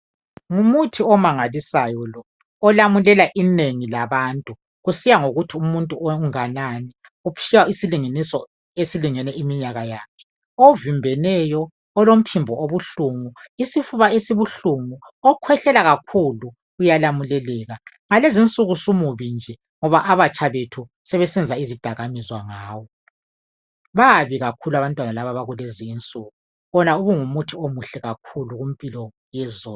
Ngumuthi omanganisayo lo,,olamulela inengi labantu, kusiya ngokuthi umuntu unganani, uphiwa isilinganiso esilingene iminyaka yakhe. Ovimbeneyo, olomphimbo obuhlungu, isifuba esibuhlungu, okhwehlela kakhulu, uyalamuleleka. Ngalezinsuku sumubi nje ngoba amatsha bethu sebesenza izidakamizwa ngawo. Babi kakhulu abantwana laba abakulezinsuku. Wona ubungumuthi omuhle kakhulu kumpilo yezolo.